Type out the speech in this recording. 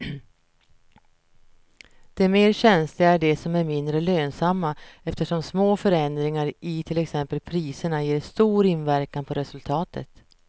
De mer känsliga är de som är mindre lönsamma eftersom små förändringar i till exempel priserna ger stor inverkan på resultatet.